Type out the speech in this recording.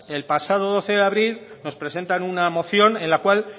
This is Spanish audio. el pasado doce de abril nos presentan una moción en la cual